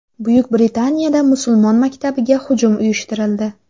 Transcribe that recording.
Buyuk Britaniyada musulmon maktabiga hujum uyushtirildi.